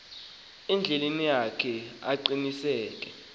endleleni yakhe aqiniseke